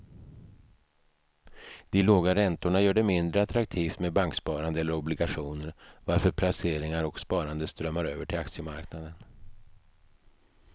De låga räntorna gör det mindre attraktivt med banksparande eller obligationer varför placeringar och sparande strömmar över till aktiemarknaden.